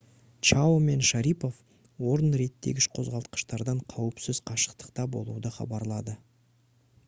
чао мен шарипов орын реттегіш қозғалтқыштардан қауіпсіз қашықтықта болуды хабарлады